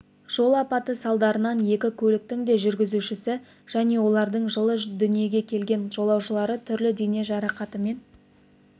жол апаты салдарынан екі көліктің де жүргізушісі және олардың жылы дүние келген жолаушылары түрлі дене жарақатымен